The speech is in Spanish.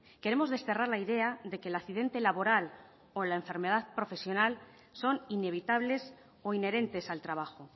queremos desterrar la idea de que el accidente laboral o la enfermedad profesional son inevitables o inherentes al trabajo